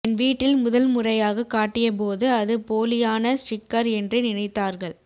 என் வீட்டில் முதல் முறையாக காட்டிய போது அது போலியான ஸ்டிக்கர் என்றே நினைத்தார்கள்